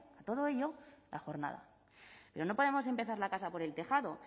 todo ello a la jornada pero no podemos empezar la casa por el tejado